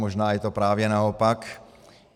Možná je to právě naopak.